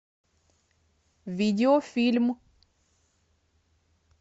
видео фильм